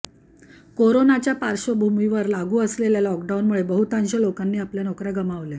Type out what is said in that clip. कोरोनाच्या पार्श्वभूमीवर लागू असलेल्या लॉकडाऊनमुळे बहुतांश लोकांनी आपल्या नोकर्या गमावल्या